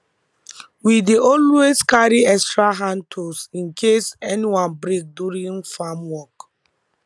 we dey always carry extra hand tools in case any one break during farm work